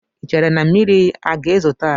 Ị chere na mmiri aga ezo taa?